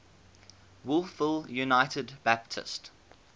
wolfville united baptist